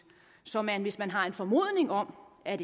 så man hvis man har en formodning om at